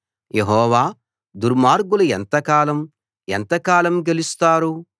యెహోవా దుర్మార్గులు ఎంతకాలం ఎంతకాలం గెలుస్తారు